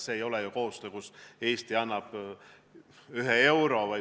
See ei ole ju koostöö, kui Eesti annab ühe euro.